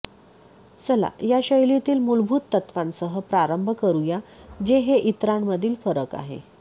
चला या शैलीतील मूलभूत तत्त्वांसह प्रारंभ करूया जे हे इतरांमधील फरक आहे